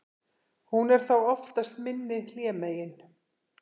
hún er þá oftast minni hlémegin